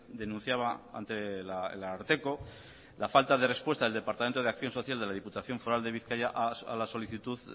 denunciaba ante el ararteko la falta de respuesta del departamento de acción social de la diputación foral de bizkaia a la solicitud